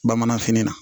Bamananfini na